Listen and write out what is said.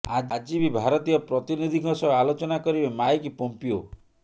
ଆଜି ବି ଭାରତୀୟ ପ୍ରତିନିଧିଙ୍କ ସହ ଆଲୋଚନା କରିବେ ମାଇକ ପୋମ୍ପିୟୋ